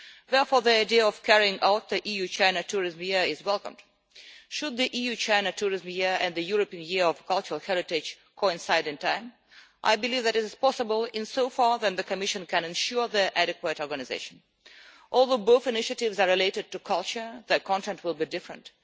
Therefore the idea of carrying out the EU-China Tourism Year is welcomed. Should the EU China Tourism Year and the European Year of Cultural Heritage coincide in time? I believe that this is possible in so far as the Commission can ensure their adequate organisation. Although both initiatives are related to culture, their content will be different.